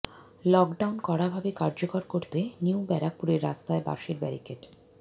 lockdown কড়াভাবে কার্যকর করতে নিউ ব্যারাকপুরের রাস্তায় বাঁশের ব্যারিকেড